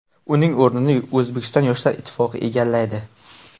Uning o‘rnini O‘zbekiston Yoshlar ittifoqi egallaydi.